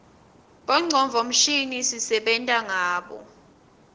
bongcondvo mshini sisebenta ngabo